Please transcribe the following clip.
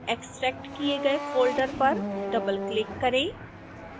extract किए गए folder पर डबलक्लिक करें